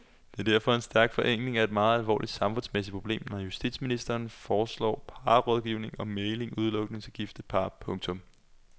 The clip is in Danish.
Det er derfor en stærk forenkling af et meget alvorligt samfundsmæssigt problem når justitsministeren foreslår parrådgivning og mægling udelukkende til gifte par. punktum